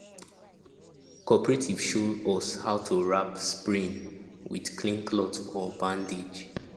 cooperative show us how to wrap sprain with clean cloth or bandage